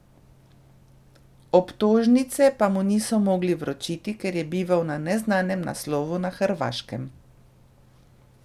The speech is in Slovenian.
Obtožnice pa mu niso mogli vročiti, ker je bival na neznanem naslovu na Hrvaškem.